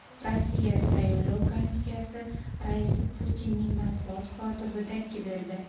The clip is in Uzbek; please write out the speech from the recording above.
Rossiya saylov komissiyasi raisi Putinning matbuot kotibiga dakki berdi.